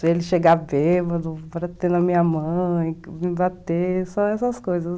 Se ele chegar bêbado, para ter na minha mãe, me bater, só essas coisas.